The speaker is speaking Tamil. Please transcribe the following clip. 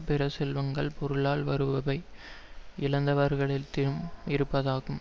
பிற செல்வங்கள் பொருளால் வருபவை இழந்தவர்களிடத்திலும் இருப்பதாகும்